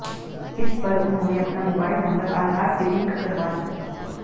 इस पर उन्होंने अपना मोबाइल नंबर आधार से लिंक करवा दिया